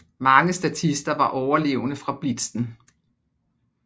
Mange statister var overlevende fra Blitzen